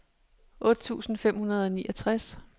otte tusind fem hundrede og niogtres